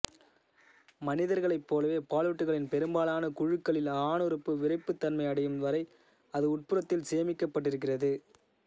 மனிதர்களைப் போலவே பாலூட்டிகளின் பெரும்பாலான குழுக்களில் ஆணுறுப்பு விறைப்புத்தன்மை அடையும் வரை அது உட்புறத்தில் சேமிக்கப்பட்டிருக்கிறது